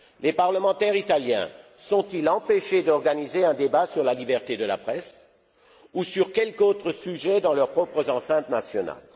Les parlementaires italiens sont ils empêchés d'organiser un débat sur la liberté de la presse ou sur quelque autre sujet dans leurs propres enceintes nationales?